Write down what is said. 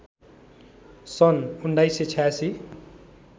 सन् १९८६